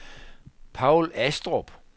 Paul Astrup